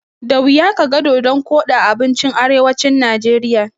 Da wuya kaga dodon koɗi a abincin arewacin Najeriya.